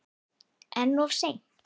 En of seint?